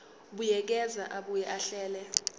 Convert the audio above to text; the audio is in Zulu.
buyekeza abuye ahlele